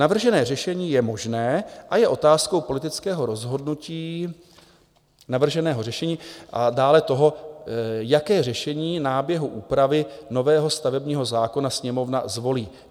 Navržené řešení je možné a je otázkou politického rozhodnutí navrženého řešení a dále toho, jaké řešení náběhu úpravy nového stavebního zákona Sněmovna zvolí.